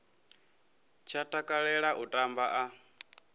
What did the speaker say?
tsha takalela u tamba a